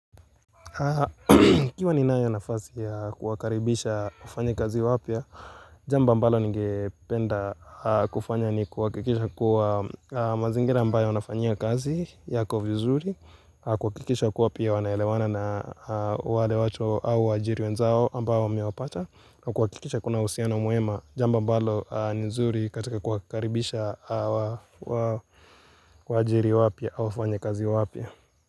Nikiwa ni nayo nafasi ya kuwakaribisha wafanya kazi wapya, jambo ambalo nige penda kufanya ni kuhakikisha kuwa mazingira ambayo nafanya kazi yako vizuri, kuhakikisha kuwa pia wanaelewana na wale wacho au wajiri wenzao ambayo wamewapata, kuhakikisha kuna uhusiano mwema jambo ambalo nizuri katika kuwakaribisha wajiri wapya au wafanya kazi wapya.